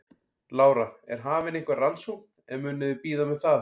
Lára: Er hafin einhver rannsókn eða munuð þið bíða með það?